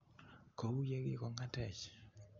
KO u ye kigong'atech.